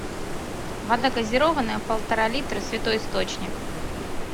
вода газированная полтора литра святой источник